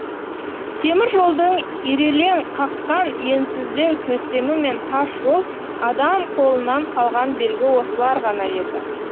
темір жолдың ирелең қаққан енсіздеу төсемі мен тас жол адам қолынан қалған белгі осылар ғана еді